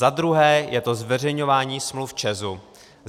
Za druhé je to zveřejňování smluv ČEZu.